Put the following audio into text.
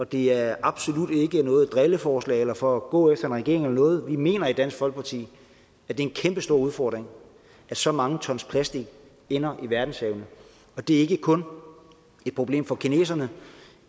det er absolut ikke noget drilleforslag eller for at gå efter regeringen eller noget vi mener i dansk folkeparti at det er en kæmpestor udfordring at så mange tons plastik ender i verdenshavene det er ikke kun et problem for kineserne